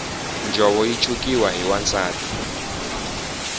njhovo yi chukiwa hi wansati